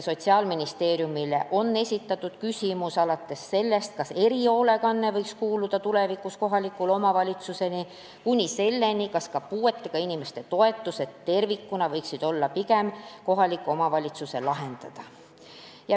Sotsiaalministeeriumile on esitatud küsimusi, alates sellest, kas erihoolekanne võiks kuuluda tulevikus kohalike omavalitsuste alla, kuni selleni, kas ka puuetega inimeste toetused tervikuna võiksid olla pigem kohaliku omavalitsuse lahendada.